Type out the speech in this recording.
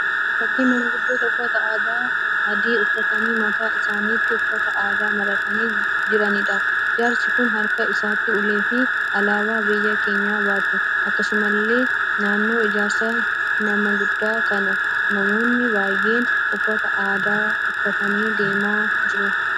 Fakkii maanguddoo uffata aadaa adii uffatanii mataa isaaniittis uffata aadaa maratanii jiraniidha. Jaarsi kun harka isaaniitti ulee fi alaabaa biyya keenyaa baatu. Akkasumallee naannoo jaarsa nama guddaa kanaa namoonni baay'een uffata aadaa uffatanii deemaa jiru.